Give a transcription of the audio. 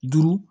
Duuru